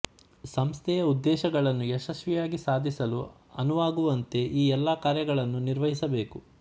ಸಂಸ್ಥೆಯ ಉದ್ದೇಶಗಳನ್ನು ಯಶಸ್ವಿಯಾಗಿ ಸಾಧಿಸಲು ಅನುವಾಗುವಂತೆ ಈ ಎಲ್ಲ ಕಾರ್ಯಗಳನ್ನು ನಿರ್ವಹಿಸಬೇಕು